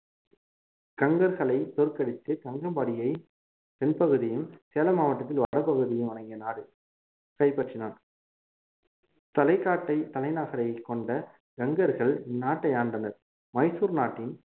கங்கர்களை தோற்கடித்து கங்கம்பாடியை தென்பகுதியும் சேலம் மாவட்டத்தில் வடப்பகுதியும் அடங்கிய நாடு கைப்பற்றினான் தலைகாட்டை தலைநகரை கொண்ட கங்கர்கள் நாட்டை ஆண்டனர் மைசூர் நாட்டின்